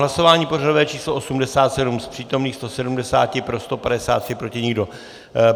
Hlasování pořadové číslo 87, z přítomných 170 pro 153, proti nikdo.